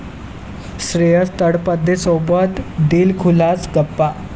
श्रेयस तळपदेसोबत दिलखुलास गप्पा